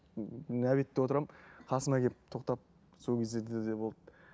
ммм обедте отырамын қасыма келіп тоқтап сол кездерде де болды